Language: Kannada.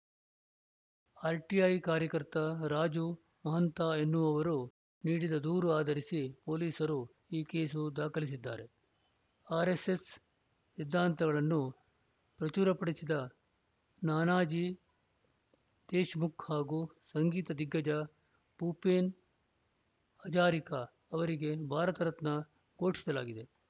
ಆರ್‌ಟಿಐ ಕಾರ್ಯಕರ್ತ ರಾಜು ಮಹಾಂತಾ ಎನ್ನುವವರು ನೀಡಿದ ದೂರು ಆಧರಿಸಿ ಪೊಲೀಸರು ಈ ಕೇಸು ದಾಖಲಿಸಿದ್ದಾರೆ ಆರ್‌ಎಸ್‌ಎಸ್‌ ಸಿದ್ಧಾಂತಗಳನ್ನು ಪ್ರಚುರಪಡಿಸಿದ ನಾನಾಜೀ ದೇಶ್‌ಮುಖ್‌ ಹಾಗೂ ಸಂಗೀತ ದಿಗ್ಗಜ ಭೂಪೇನ್‌ ಹಜಾರಿಕಾ ಅವರಿಗೆ ಭಾರತ ರತ್ನ ಘೋಷಿಸಲಾಗಿದೆ